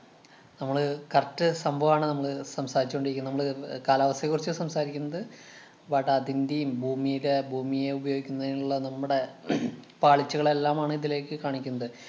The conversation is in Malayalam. നമ്മള് correct സംഭവമാണ് നമ്മള് സംസാരിച്ചു കൊണ്ടിരിക്കുന്നെ. നമ്മള് കാലാവസ്ഥയെ കുറിച്ചാ സംസാരിക്കുന്നത്. but അതിന്‍റേം, ഭൂമീടെ ഭൂമിയെ ഉപയോഗിക്കുന്നത്തിനുള്ള നമ്മടെ പാളിച്ചകളെല്ലാം ആണ് ഇതിലേക്ക് കാണിക്കുന്നത്.